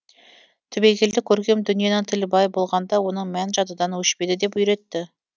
түбегейлі көркем дүниенің тілі бай болғанда оның мәні жадыдан өшпейді деп үйретті